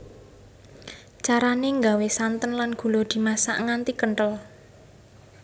Carane nggawe santen lan gula dimasak nganti kenthel